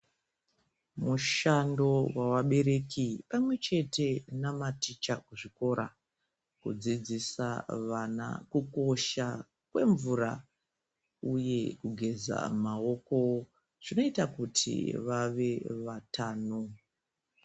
Mushando wevabereki pamwete nematicha kuzvikora kudzidzisa vana kukosha kwemvura uye kugeza maoko zvinoita kuti vave vatano.